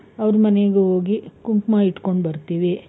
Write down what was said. ಅವ್ರ್ ಮನೆಗ್ ಹೋಗಿ ಕುಂಕುಮ ಇಟ್ಕೊಂಡು ಬರ್ತೀವಿ.